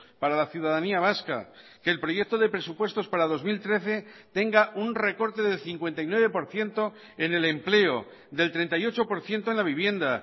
para la ciudadanía vasca que el proyecto de presupuestos para dos mil trece tenga un recorte de cincuenta y nueve por ciento en el empleo del treinta y ocho por ciento en la vivienda